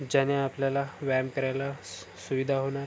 ज्याने आपल्याला व्यायाम करायला स सुविधा होणार.